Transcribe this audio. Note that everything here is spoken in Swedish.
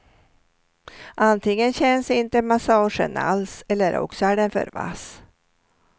Antingen känns inte massagen alls eller också är den för vass.